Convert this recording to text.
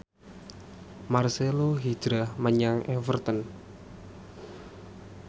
marcelo hijrah menyang Everton